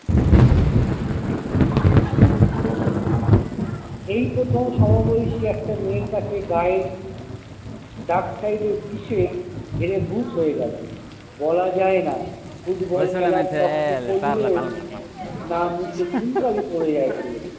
এই প্রথম সমবয়সী একটি মেয়ের কাছে গায়ের ডাক side এর বিশে হেরে ভুত হয়ে গেল বলা যায়না football খেলার তর্ক করল না মুখে চুন কালি পরে যায় ছেলেদের।